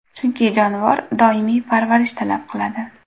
Chunki jonivor doimiy parvarish talab qiladi.